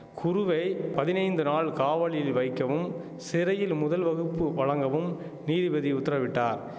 குருவை பதினைந்து நாள் காவலில் வைக்கவும் சிறையில் முதல் வகுப்பு வழங்கவும் நீதிபதி உத்தரவிட்டார்